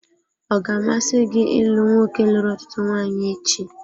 Ọ ga-amasị gị ịlụ nwoke lụrụ ọtụtụ nwanyị echi?